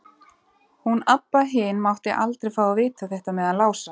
Hún Abba hin mátti aldrei fá að vita þetta með hann Lása.